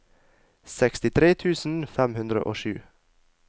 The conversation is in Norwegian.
sekstitre tusen fem hundre og sju